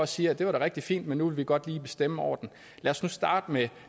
siger at det var da rigtig fint men nu vil vi godt lige bestemme over den lad os nu starte med